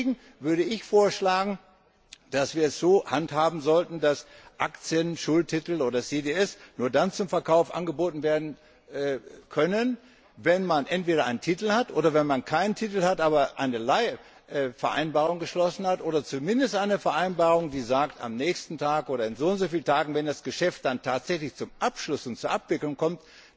Deswegen würde ich vorschlagen, dass wir es so handhaben sollten, dass Aktien, Schuldtitel oder CDS nur dann zum Verkauf angeboten werden können, wenn man entweder einen Titel hat oder aber wenn man keinen Titel hat eine Leihvereinbarung geschlossen hat oder zumindest eine Vereinbarung, die besagt, dass der Titel am nächsten Tag oder in soundsoviel Tagen verfügbar ist, wenn das Geschäft dann tatsächlich zum Abschluss und zur Abwicklung kommt,